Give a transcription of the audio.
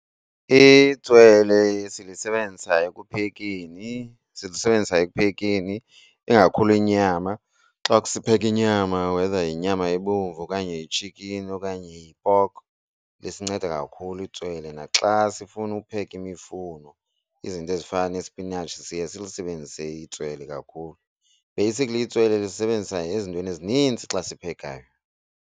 Itswele silisebenzisa ekuphekeni silisebenzisa ekuphekeni ingakhulu inyama. Xa sipheka inyama whether yinyama ebomvu okanye itshikini okanye yi-pork lisincede kakhulu itswele. Naxa sifuna upheka imifuno izinto ezifana nesipinatshi siye silisebenzise itswele kakhulu. Basically itswele lisebenzisa ezintweni ezininzi xa siphekayo.